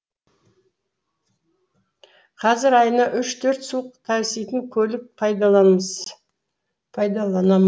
қазір айына үш төртсу таситын көлік пайдаланам